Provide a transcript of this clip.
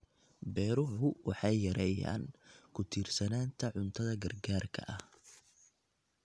Beeruhu waxay yareeyaan ku tiirsanaanta cuntada gargaarka ah.